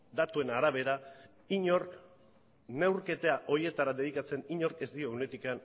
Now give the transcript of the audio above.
datuen arabera inork neurketa horietara dedikatzen inork ez dio ehuneko